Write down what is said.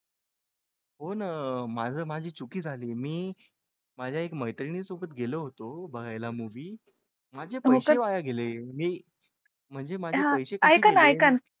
हो ना माझं माझी चुकी झाली मी माझ्या एका मैत्रीण सोबत गेलो होतो बघायला movie माझे पैसे वाया गेले मी म्हणजे माझे पैसे कसे केले.